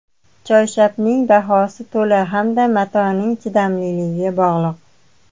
Choyshabning bahosi tola hamda matoning chidamliligiga bog‘liq.